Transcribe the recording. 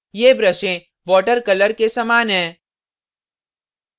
ये ब्रशें water colour के समान हैं